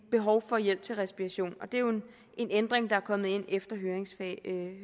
behov for hjælp til respiration og det er jo en ændring der er kommet ind efter høringsfasen en